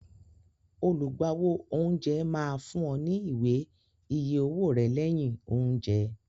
Olùgbàwò oúnjẹ máa fún ọ ní ìwé-iye owó rẹ lẹyìn oúnjẹ